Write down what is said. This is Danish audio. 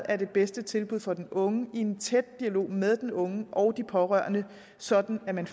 er det bedste tilbud for den unge i en tæt dialog med den unge og de pårørende sådan at man